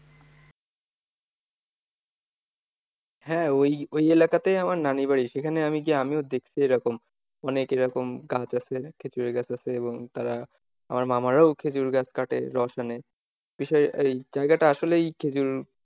হ্যাঁ ওই ওই এলাকাতেই আমার নানীর বাড়ি। সেখানে আমি গিয়ে আমিও দেখি সেরকম অনেক এরকম গাছ আছে খেঁজুরের গাছ আছে, এবং তারা আমার মামারাও খেঁজুর গাছ কাটে রস আনে, বিষয় এই জায়গাটা আসলেই খেঁজুর,